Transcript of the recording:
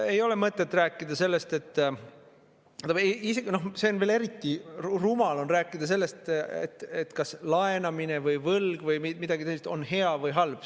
Ei ole mõtet rääkida sellest, noh, veel eriti rumal on rääkida sellest, kas laenamine või võlg või midagi sellist on hea või halb.